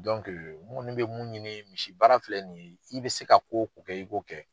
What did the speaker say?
Dɔnke ŋɔni be mun ɲini misi baara filɛ nin ye, i be se ka ko o ko kɛ, i b'o kɛ.